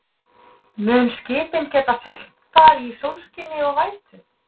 mun skipin geta siglt þar í sólskini og vætu